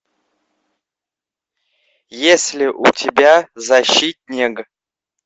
есть ли у тебя защитнег